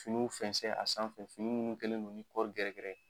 Finiw fɛnsɛn a sanfɛ fini minnu kɛlen don ni kɔri gɛrɛgɛrɛ ye